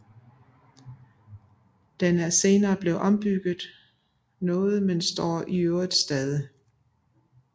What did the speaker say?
Den er senere blevet ombygget noget men står i øvrigt stadig